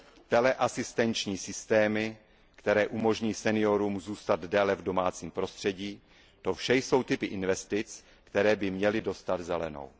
teleasistenční systémy, které umožní seniorům zůstat déle v domácím prostředím, to vše jsou typy investic, které by měly dostat zelenou.